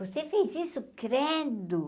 Você fez isso, credo.